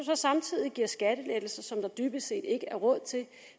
samtidig giver skattelettelser som der dybest set ikke er råd til